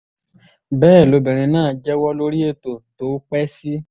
bẹ́ẹ̀ lobìnrin náà jẹ́wọ́ lórí ètò tó pẹ́ sí